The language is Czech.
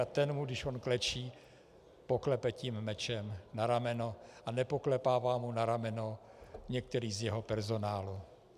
A ten mu, když on klečí, poklepe mečem na rameno a nepoklepává mu na rameno některý z jeho personálu.